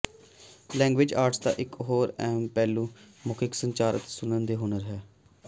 language arts ਦਾ ਇਕ ਹੋਰ ਅਹਿਮ ਪਹਿਲੂ ਮੌਖਿਕ ਸੰਚਾਰ ਅਤੇ ਸੁਣਨ ਦੇ ਹੁਨਰ ਹੈ